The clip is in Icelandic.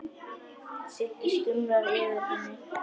Sigga stumrar yfir henni.